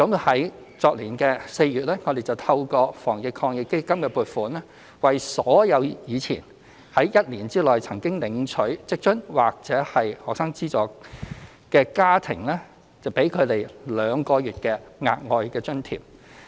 去年4月，我們透過"防疫抗疫基金"的撥款，為所有在之前一年內曾領取職津或學生資助的家庭提供兩個月的額外津貼。